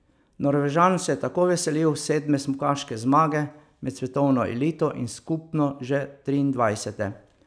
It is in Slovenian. Norvežan se je tako veselil sedme smukaške zmage med svetovno elito in skupno že triindvajsete.